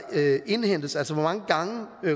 indhentes altså hvor mange gange